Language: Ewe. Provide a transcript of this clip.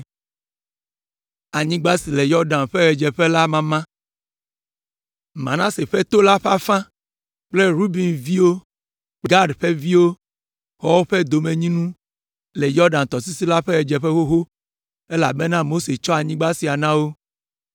Manase ƒe to la ƒe afã kple Ruben ƒe viwo kple Gad ƒe viwo xɔ woƒe domenyinu le Yɔdan tɔsisi la ƒe ɣedzeƒe xoxo, elabena Mose tsɔ anyigba sia na wo.